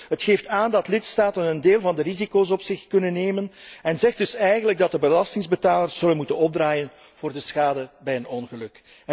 Het geeft aan dat lidstaten een deel van de risico's op zich kunnen nemen en zegt dus eigenlijk dat de belastingbetalers zullen moeten opdraaien voor de schade bij een ongeluk.